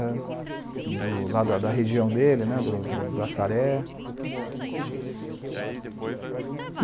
eh, do lá da da da da região dele né , do Açaré.